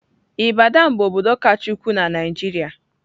Ibadan bụ obodo kacha ukwuu na Naịjirịa.